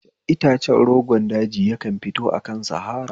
Itace rogon daji yakan fito akan sahara